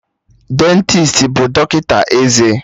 Dentisti bụ dọkịta eze